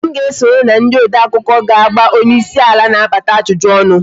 Sam ga-esonye na ndị odeakụkọ ga-agba onyeisi ala na-abata ajụjụ ọnụ